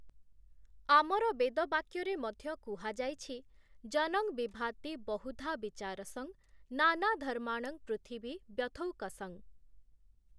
ଆମର ବେଦବାକ୍ୟରେ ମଧ୍ୟ କୁହାଯାଇଛି 'ଜନଂ ବିଭାତି ବହୁଧା ବିଚାରସଂ ନାନାଧର୍ମାଣଂ ପୃଥିବୀ ବ୍ୟଥୌକସଂ' ।